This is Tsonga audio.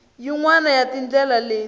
yin wana ya tindlela leti